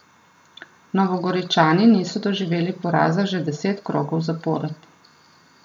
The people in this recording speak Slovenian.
Novogoričani niso doživeli poraza že deset krogov zapored.